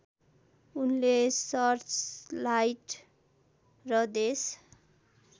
उनले सर्चलाइट र देश